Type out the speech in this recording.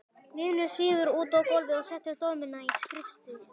Vinurinn svífur út á gólfið og setur dömuna í skrúfstykki.